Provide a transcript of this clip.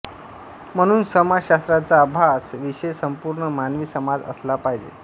म्हणून समाजशास्त्राचा अभास विषय संपूर्ण मानवी समाज असला पाहिजे